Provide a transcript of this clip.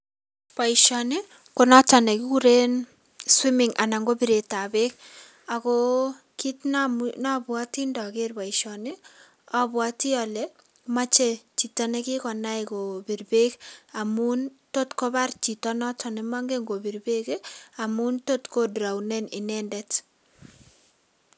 Boishoni konoton nekikuren swimming anan ko bireetab beek akoo kiit nobwote indoker boishoni abwoti olee moche chito nekikonai kobir beek amun tot kobar chito noton nemong'en kobir beek amun tot ko draonen inendet.